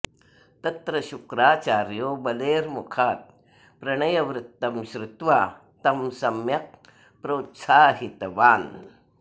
तत्र शुक्राचार्यो बलेर्मुखात् प्रणयवृत्तं श्रुत्वा तं सम्यक् प्रोत्साहितवान्